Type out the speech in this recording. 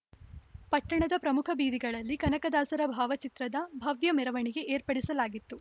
ಪಟ್ಟಣದ ಪ್ರಮುಖ ಬೀದಿಗಳಲ್ಲಿ ಕನಕದಾಸರ ಭಾವಚಿತ್ರದ ಭವ್ಯ ಮೆರವಣಿಗೆ ಏರ್ಪಡಿಸಲಾಗಿತ್ತು